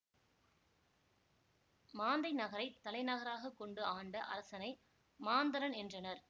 மாந்தை நகரை தலைநகராக கொண்டு ஆண்ட அரசனை மாந்தரன் என்றனர்